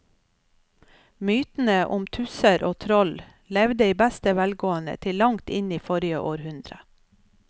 Mytene om tusser og troll levde i beste velgående til langt inn i forrige århundre.